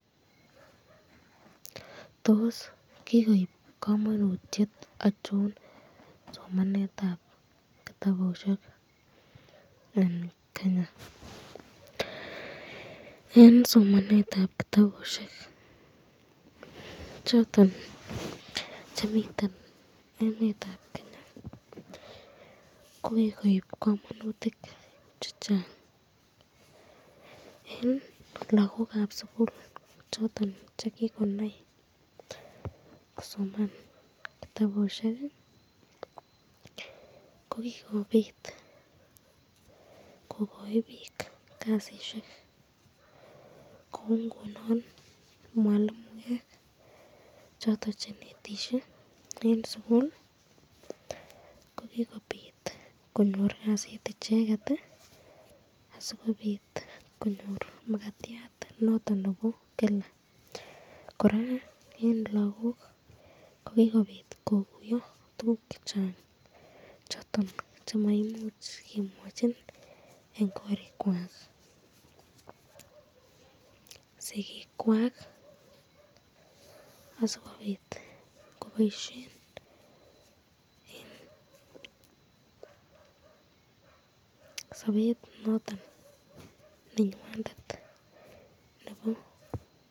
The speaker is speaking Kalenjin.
Tos kikoib kamanutyet achon somanetab kitabusyek ,eng Kenya eng somanetab kitabusyek choton chemiten emetab Kenya kokukoib kamanutik chechang eng lagokab sukul